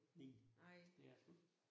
Nej, det er det sgu ikke